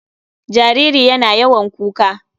Jariri yana yawan kuka.